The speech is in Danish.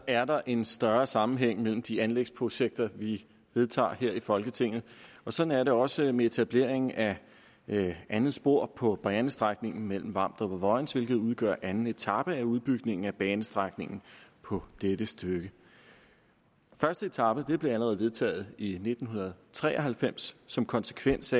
er der en større sammenhæng mellem de anlægsprojekter vi vedtager her i folketinget og sådan er det også med etableringen af det andet spor på banestrækningen mellem vamdrup og vojens hvilket udgør anden etape af udbygningen af banestrækningen på dette stykke første etape blev allerede vedtaget i nitten tre og halvfems som konsekvens